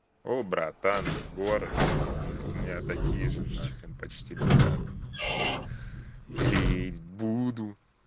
о братан город у меня такие же нахрен почти лежат клеить буду